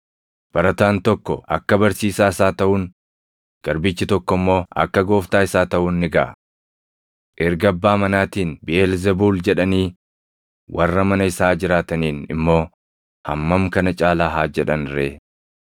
Barataan tokko akka barsiisaa isaa taʼuun, garbichi tokko immoo akka gooftaa isaa taʼuun ni gaʼa. Erga abbaa manaatiin ‘Biʼeelzebuul’ jedhanii, warra mana isaa jiraataniin immoo hammam kana caalaa haa jedhan ree!